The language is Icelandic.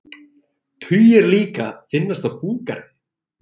Tugir líka finnast á búgarði